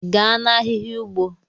Gaa na-ahịhịa ugbo!